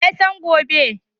Wa ya san gobe?